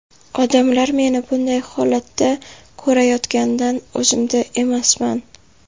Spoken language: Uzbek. Odamlar meni bunday holatda ko‘rayotganidan o‘zimda emasman.